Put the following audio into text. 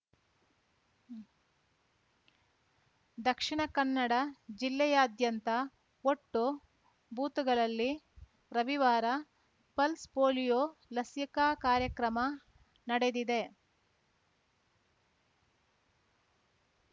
ದಕ್ಷಿಣ ಕನ್ನಡ ಜಿಲ್ಲೆಯಾದ್ಯಂತ ಒಟ್ಟು ಬೂತ್‌ಗಳಲ್ಲಿ ರವಿವಾರ ಪಲ್ಸ್ ಪೋಲಿಯೊ ಲಸಿಕಾ ಕಾರ್ಯಕ್ರಮ ನಡೆದಿದೆ